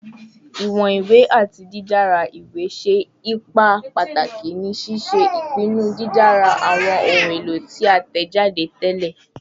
Iwọn iwe ati didara iwe ṣe ipa pataki ni ṣiṣe ipinnu didara awọn ohun elo ti a tẹjade tẹlẹ